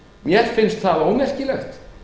mér finnst það ómerkilegt